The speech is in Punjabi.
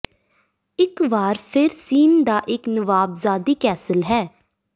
ਇਕ ਵਾਰ ਫਿਰ ਸੀਨ ਦਾ ਇੱਕ ਨਵਾਬਜਾਦੀ ਕੈਸਲ ਹੈ